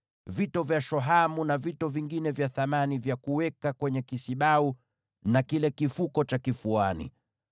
vito vya shohamu, na vito vingine vya thamani vya kuweka kwenye kisibau na kile kifuko cha kifuani.